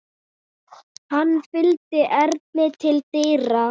Hann fylgdi Erni til dyra.